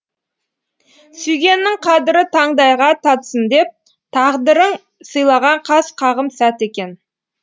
сүйгеннің қадірі таңдайға татсын деп тағдырың сыйлаған қас қағым сәт екен